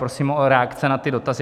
Prosím o reakce na ty dotazy.